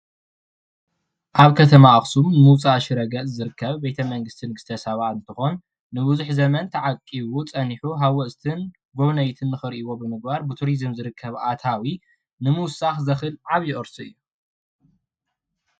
ኣብ ከተማ ኣክሱም ምውፃእ ሽረ ገፅ ዝርከብ ቤተ መንግስቲ ንግስተ ሳባ እንትኮን ንብዙሕ ዘመን ተዓቂቡ ፀኒሑ ሃወፅትን ጎብነይትን ክሪእዎም ብምግባር ብትሪዙም ዝርከብ ኣታዊ ንምውሳክ ዘክእል ዓብይ ቅርሲ እዩ።